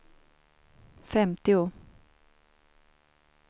femtio